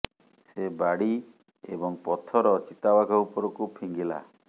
ସେ ବାଡି ଏବଂ ପଥର ଚିତା ବାଘ ଉପରକୁ ଫିଙ୍ଗିଲା